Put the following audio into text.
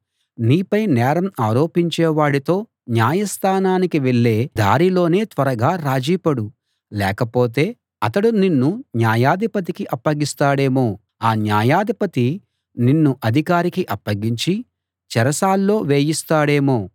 నీపై నేరం ఆరోపించేవాడితో న్యాయస్థానానికి వెళ్ళే దారిలోనే త్వరగా రాజీపడు లేకపోతే అతడు నిన్ను న్యాయాధిపతికి అప్పగిస్తాడేమో ఆ న్యాయాధిపతి నిన్ను అధికారికి అప్పగించి చెరసాల్లో వేయిస్తాడేమో